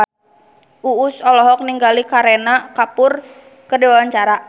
Uus olohok ningali Kareena Kapoor keur diwawancara